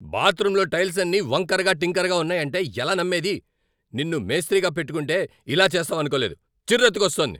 బాత్రూంలో టైల్సన్నీ వంకరగా టింకరగా ఉన్నాయంటే ఎలా నమ్మేది! నిన్ను మేస్త్రిగా పెట్టుకుంటే ఇలా చేస్తావనుకోలేదు. చిర్రెత్తుకొస్తోంది!